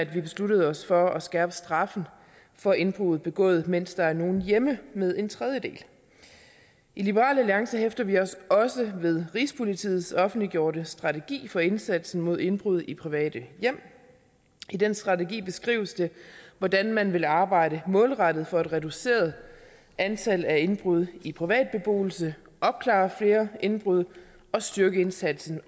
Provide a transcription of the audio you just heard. vi besluttede os for at skærpe straffen for indbrud begået mens der er nogen hjemme med en tredjedel i liberal alliance hæfter vi os også ved rigspolitiets offentliggjorte strategi for indsatsen mod indbrud i private hjem i den strategi beskrives det hvordan man vil arbejde målrettet for et reduceret antal af indbrud i privat beboelse opklare flere indbrud og styrke indsatsen